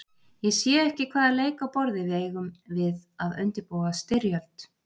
Ég sé ekki hvaða leik á borði við eigum við að undirbúa styrjöld.